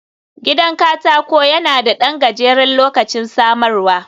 Gidan katako yana da ɗan gajeren lokacin samarwa